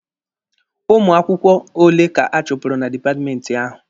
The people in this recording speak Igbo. Ụmụ akwụkwọ ole ka a chụpụrụ na dipatmenti ahụ?